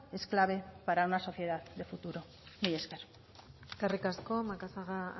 es clave para una sociedad de futuro mila esker eskerrik asko macazaga